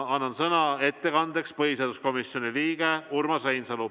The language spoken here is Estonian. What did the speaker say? Annan sõna ettekandeks põhiseaduskomisjoni liikmele Urmas Reinsalule.